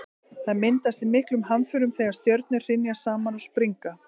það myndast í miklum hamförum þegar stjörnur hrynja saman og springa